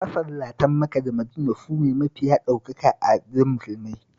Masallatan Maka da Madina sune mafiya ɗaukaka a wajen Musulmai